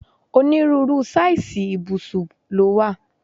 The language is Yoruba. Onírúurú sáìsì ibusub ló wà.